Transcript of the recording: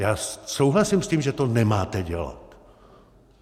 Já souhlasím s tím, že to nemáte dělat.